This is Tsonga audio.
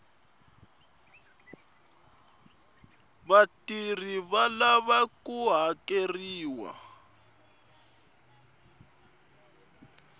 vatirhi va lava ku hakeriwa